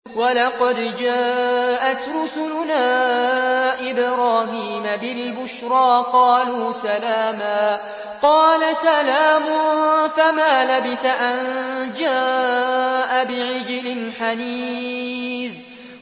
وَلَقَدْ جَاءَتْ رُسُلُنَا إِبْرَاهِيمَ بِالْبُشْرَىٰ قَالُوا سَلَامًا ۖ قَالَ سَلَامٌ ۖ فَمَا لَبِثَ أَن جَاءَ بِعِجْلٍ حَنِيذٍ